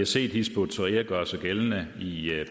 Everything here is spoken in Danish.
set hizb ut tahrir gøre sig gældende i